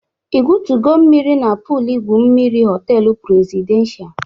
I gwotugo mmiri na puulu igwu mmiri họteelụ prezidenshal?